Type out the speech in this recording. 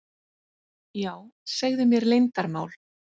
Já, segðu mér leyndarmál.